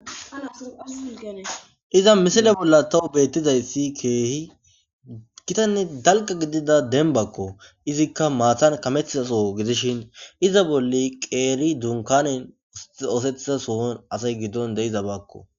iza misile bolla tawu beettizayssi keehi gitanne dalqa gidida denbakko izikka maathan kametizaso gidishin iza bolle qeeri dunkanen oosethiza sohon asay giddon de iza bakko